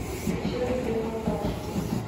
включи андрея лобашева